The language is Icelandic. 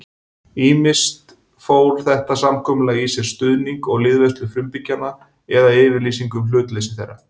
Ýmist fól þetta samkomulag í sér stuðning og liðveislu frumbyggjanna eða yfirlýsingu um hlutleysi þeirra.